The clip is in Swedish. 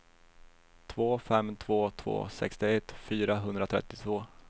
två fem två två sextioett fyrahundratrettiotvå